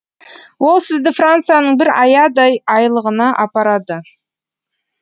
ол сізді францияның бір аядай айлағына апарады